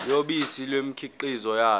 yobisi nemikhiqizo yalo